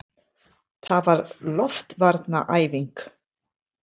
Það var loftvarnaæfing!